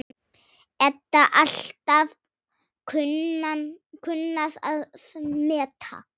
Edda alltaf kunnað að meta.